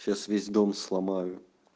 сейчас весь дом сломаю